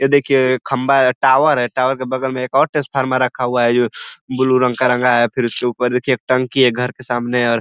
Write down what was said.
ये देखिये खम्भा है टावर के बगल में एक और ट्रांसफार्मर रखा हुआ है जो ब्लू रंग का रंगा है फिर उसके ऊपर देखिये टंकी है घर के सामने और --